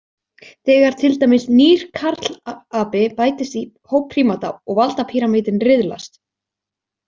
Þegar til dæmis nýr karlapi bætist í hóp prímata og valdapíramítinn riðlast.